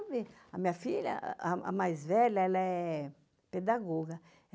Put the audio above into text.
A minha filha, a mais velha, ela é pedagoga.